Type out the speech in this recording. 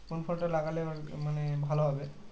কোন ফলটা লাগালে মানে ভালো হবে